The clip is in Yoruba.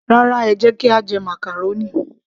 Rárá, ẹ jẹ́ kí a jẹ màcàrónì